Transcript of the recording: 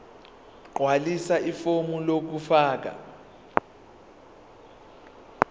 gqwalisa ifomu lokufaka